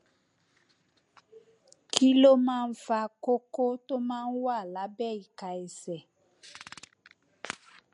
kí ló máa ń fa kókó tó máa ń wà lábẹ ìka ẹsẹ